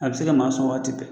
A bɛ se maa sɔn waati bɛɛ